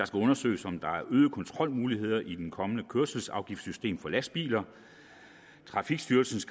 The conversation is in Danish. skal undersøges om der er øgede kontrolmuligheder i det kommende kørselsafgiftssystem for lastbiler trafikstyrelsens